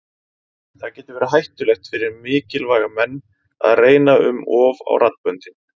Það getur verið hættulegt fyrir mikilvæga menn að reyna um of á raddböndin.